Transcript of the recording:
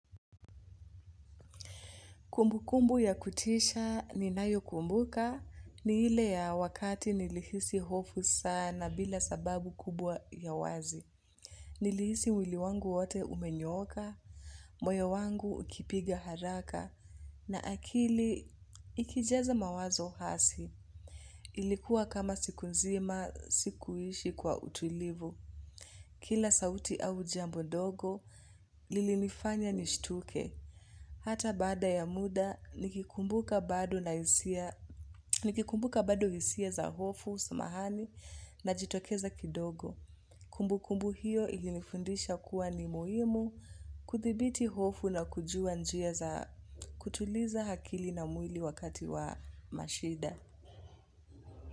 Kumbukumbu ya kutisha ninayokumbuka ni ile ya wakati nilihisi hofu sana bila sababu kubwa ya wazi. Nilihisi mwili wangu wote umenyooka, moyo wangu ukipiga haraka na akili ikijaza mawazo hasi. Ilikuwa kama siku nzima sikuishi kwa utulivu. Kila sauti au jambo dogo, lilinifanya nishtuke. Hata bada ya muda, nikikumbuka bado hisia za hofu, samahani, najitokeza kidogo. Kumbu kumbu hiyo ilifundisha kuwa ni muhimu kudhibiti hofu na kujua njia za kutuliza akili na mwili wakati wa mashida.